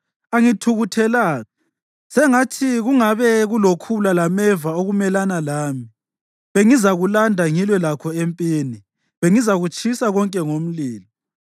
Angithukuthelanga. Sengathi kungabe kulokhula lameva okumelana lami! Bengizakulanda ngilwe lakho empini; bengizakutshisa konke ngomlilo.